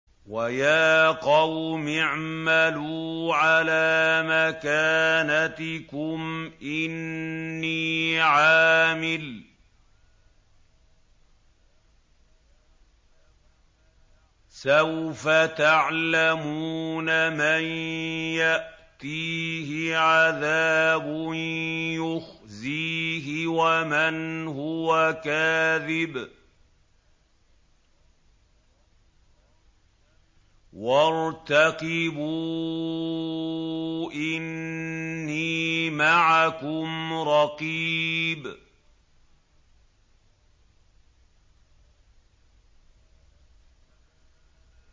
وَيَا قَوْمِ اعْمَلُوا عَلَىٰ مَكَانَتِكُمْ إِنِّي عَامِلٌ ۖ سَوْفَ تَعْلَمُونَ مَن يَأْتِيهِ عَذَابٌ يُخْزِيهِ وَمَنْ هُوَ كَاذِبٌ ۖ وَارْتَقِبُوا إِنِّي مَعَكُمْ رَقِيبٌ